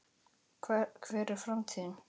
Hver er framtíð mín?